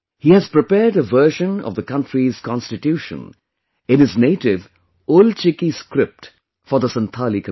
He has prepared a version of the country's Constitution in his native 'Ol Chiki' script for the Santhali community